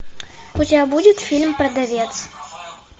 у тебя будет фильм продавец